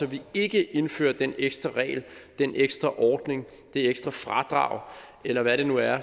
vi ikke indfører den ekstra regel den ekstra ordning det ekstra fradrag eller hvad det nu er